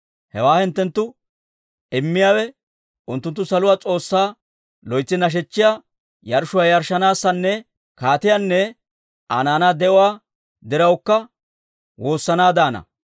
Hewaa hinttenttu immiyaawe unttunttu saluwaa S'oossaa loytsi nashechiyaa yarshshuwaa yarshshanaassanne kaatiyaanne Aa naanaa de'uwaa dirawukka woossanaadaanna.